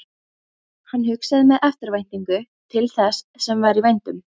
Hann hugsaði með eftirvæntingu til þess sem var í vændum.